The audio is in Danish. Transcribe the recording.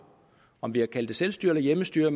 om vi har kaldt det selvstyre eller hjemmestyre